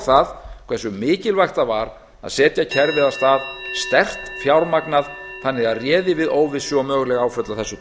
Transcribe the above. það hversu mikilvægt það var að setja kerfið af stað sterkt fjármagnað þannig að það réði við óvissu og möguleg áföll af þessu tagi